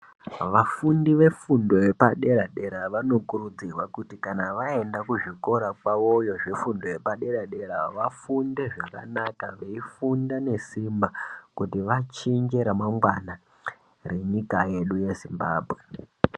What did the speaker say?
Vafundi vefundo yepadera dera vanokurudzirwa kuti kana waenda kuzvikora kwawoyo zvefundo yepadera dera, vafunde zvakanaka veifunda nesimba kuti wachinje remangwana renyika yedu yeZimbabwe.